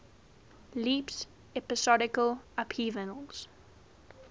leaps episodal upheavals